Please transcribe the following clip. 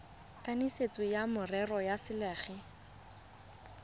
kanisitsweng wa merero ya selegae